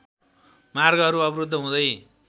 मार्गहरू अवरुद्ध हुँदै